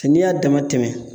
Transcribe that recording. N'i y'a dama tɛmɛ